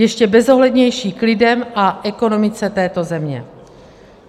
Ještě bezohlednější k lidem a ekonomice této země.